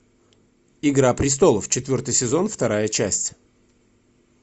игра престолов четвертый сезон вторая часть